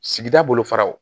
Sigida bolo faraw